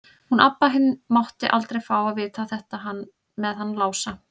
Hún Abba hin mátti aldrei fá að vita þetta með hann Lása.